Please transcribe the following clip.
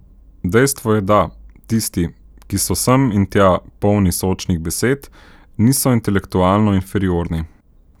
Dejstvo je da, tisti, ki so sem in tja polni sočnih besed, niso intelektualno inferiorni.